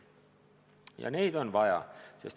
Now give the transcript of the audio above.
Ja neid on vaja.